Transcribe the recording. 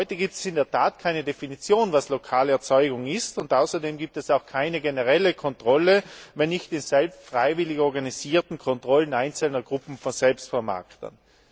Heute gibt es in der Tat keine Definition, was lokale Erzeugung ist, und außerdem gibt es auch keine generelle Kontrolle, sondern nur freiwillig organisierte Kontrollen einzelner Gruppen von Selbstvermarktern.